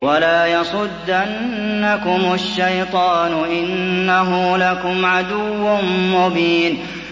وَلَا يَصُدَّنَّكُمُ الشَّيْطَانُ ۖ إِنَّهُ لَكُمْ عَدُوٌّ مُّبِينٌ